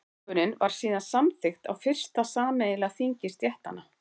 tilskipunin var síðan samþykkt á fyrsta sameiginlega þingi stéttanna